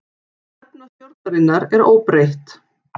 Stefna stjórnarinnar óbreytt